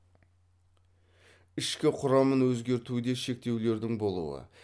ішкі құрамын өзгертуде шектеулердің болуы